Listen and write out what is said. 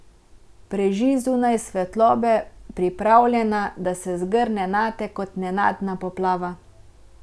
Preži zunaj svetlobe, pripravljena, da se zgrne nate kot nenadna poplava.